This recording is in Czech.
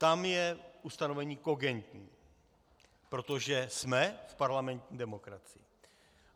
Tam je ustanovení kogentní, protože jsme v parlamentní demokracii.